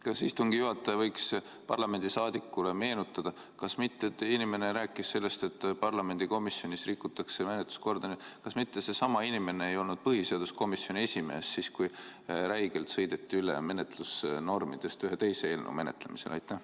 Kas istungi juhataja võiks parlamendi liikmele meenutada – inimene rääkis sellest, et parlamendi komisjonis rikutakse menetluskorda –, kas mitte seesama inimene ei olnud põhiseaduskomisjoni esimees siis, kui räigelt sõideti üle menetlusnormidest ühe teise eelnõu menetlemisel?